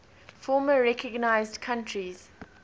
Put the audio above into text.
former unrecognized countries